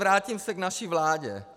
Vrátím se k naší vládě.